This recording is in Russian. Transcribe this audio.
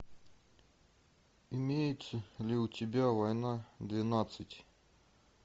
имеется ли у тебя война двенадцать